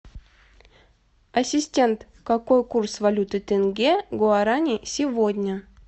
ассистент какой курс валюты тенге к гуарани сегодня